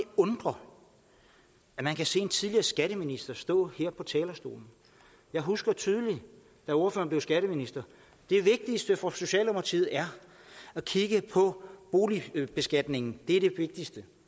undre at man kan se en tidligere skatteminister stå her på talerstolen jeg husker tydeligt da ordføreren blev skatteminister det vigtigste for socialdemokratiet er at kigge på boligbeskatningen det er det vigtigste